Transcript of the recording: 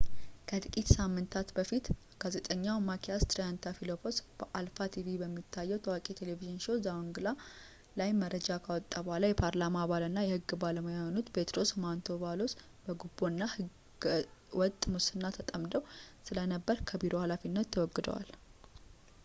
ከጥቂት ሳምንታት በፊት ጋዜጠኛው ማኪስ ትሪያንታፊሎፖውሎስ በአልፋ ቲቪ በሚታየው ታዋቂ የቴሌቪዥን ሾዉ ዞውንግላ ላይ መረጃውን ካወጣ በኋላ የፓርላማው አባልና የሕግ ባለሙያ የሆኑት ፔትሮስ ማንቶቫሎስ በጉቦ እና ሕገ-ወጥ ሙስና ተጠምደው ስለነበር ከቢሮው ሃላፊነት ተወግደዋል